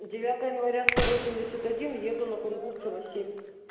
девятое января сто восемьдесят один еду на кунгурцева семь